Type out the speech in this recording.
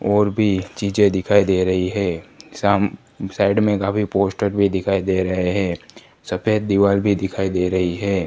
और भी चीजे दिखाई दे रही हैं साम साइड में काफी पोस्टर भी दिखाई दे रहे है सफेद दीवार भी दिखाई दे रही है।